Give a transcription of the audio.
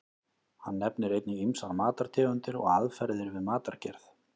Hann nefnir einnig ýmsar matartegundir og aðferðir við matargerð.